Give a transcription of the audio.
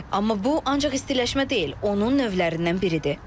Amma bu ancaq istiləşmə deyil, onun növlərindən biridir.